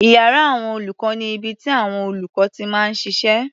Iyàrá àwọn olùkọ́ ni ibi tíàwọn olùkọ́ ti máa ń ṣiṣẹ́.